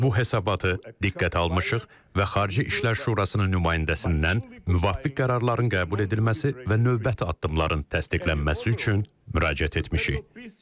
Biz bu hesabatı diqqətə almışıq və Xarici İşlər Şurasının nümayəndəsindən müvafiq qərarların qəbul edilməsi və növbəti addımların təsdiqlənməsi üçün müraciət etmişik.